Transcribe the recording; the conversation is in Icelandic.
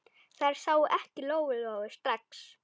Þær sáu ekki Lóu-Lóu strax.